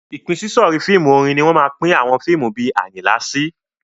Ìpínsísọ̀rí fíìmù orin ni wọ́n máa pín àwọn fíìmù bí Àyìnlá sí.